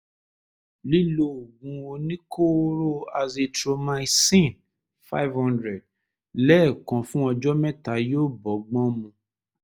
lílo oògùn oníkóóró azithromycin-five hundred lẹ́ẹ̀kan fún ọjọ́ mẹ́ta yóò bọ́gbọ́n mu